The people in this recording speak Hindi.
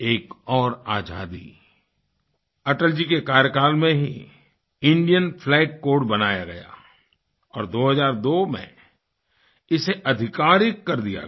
एक और आज़ादी अटल जी के कार्यकाल में हीIndian फ्लैग कोड बनाया गया और 2002 में इसे अधिकारित कर दिया गया